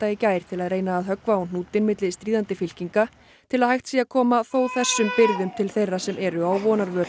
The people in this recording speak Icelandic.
í gær til að reyna að höggva á hnútinn milli stríðandi fylkinga til að hægt sé að koma þó þessum birgðum til þeirra sem eru á vonarvöl